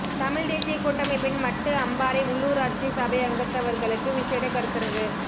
தமிழ்த் தேசியக் கூட்டமைப்பின் மட்டு அம்பாறை உள்ளுராட்சி சபை அங்கத்தவர்களுக்கு விசேட கருத்தரங்கு